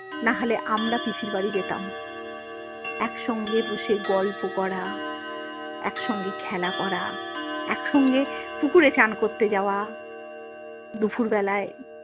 নাহলে আমরা পিসিরবাড়ি যেতাম একসঙ্গে বসে গল্প করা একসঙ্গে খেলা করা একসঙ্গে পুকুরে চান করতে যাওয়া দুপুর বেলায়।